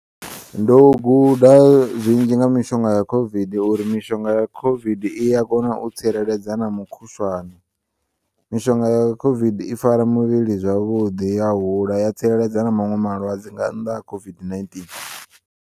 Ndo u guda zwinzhi nga mishonga ya COVID uri mishonga ya COVID iya kona tsireledza na mukhushwane mishonga ya COVID i fara muvhili zwavhuḓi ya hula tsireledza na maṅwe malwadze nga nnḓa ha COVID-19.